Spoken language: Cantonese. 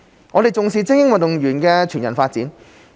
我們重視精英運動員的全人發展。